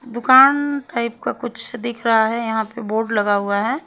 दुकान टाइप का कुछ दिख रहा है यहां पे बोर्ड लगा हुआ है।